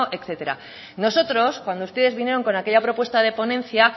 etcétera nosotros cuando ustedes vinieron con aquella propuesta de ponencia